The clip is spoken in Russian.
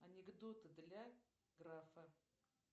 анекдоты для графа